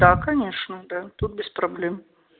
да конечно да тут без проблем